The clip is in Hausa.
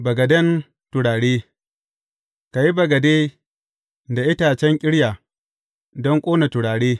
Bagaden turare Ka yi bagade da itacen ƙirya don ƙona turare.